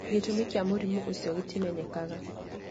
Gĩtũmi kĩa mũrimũ ũcio gĩtimenyekaga.